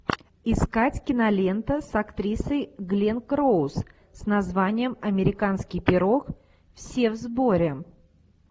искать кинолента с актрисой гленн клоуз с названием американский пирог все в сборе